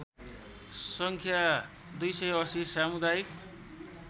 सङ्ख्या २८० सामुदायिक